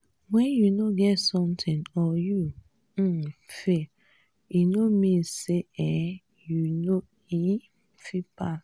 wen you no get something or you um fail e no mean say um you no um fit pass.